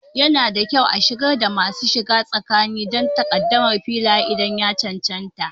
Yana da kyau a shigar da masu shiga tsakani don takaddamar Filaye idan ya cancanta.